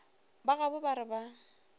ba gabo ba re ba